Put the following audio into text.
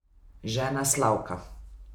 Žena Slavka.